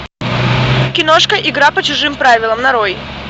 киношка игра по чужим правилам нарой